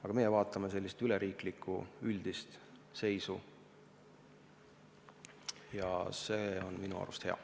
Aga meie vaatame sellist üleriiklikku, üldist seisu ja see on minu arvates hea.